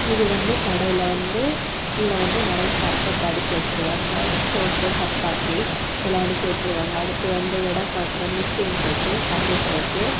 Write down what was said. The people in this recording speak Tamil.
இது வந்து கடையில வந்து கீழ வந்து நிறைய சர்பத் அடுக்கி வச்சிருக்காங்க சோப்பு சப்பாத்தி எல்லா அடுக்கி வச்சிருக்காங்க அடுத்து அந்த எட பாக்குற மிஷின் இருக்கு கம்ப்யூட்டர் இருக்கு.